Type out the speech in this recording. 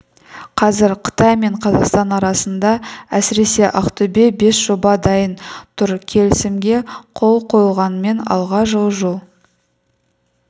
қазір қытай мен қазақстан арасында әсіресе ақтөбеде бес жоба дайын тұр келісімге қол қойылғанымен алға жылжу